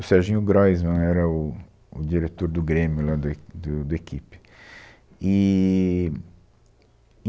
O Serginho Groisman era o, o diretor do Grêmio, lá do E, do, do Equipe, eee.